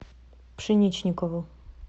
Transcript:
пшеничникову